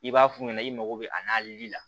I b'a f'u ɲɛna i mako bɛ a n'ali la